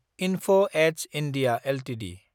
enough edge (India) Ltd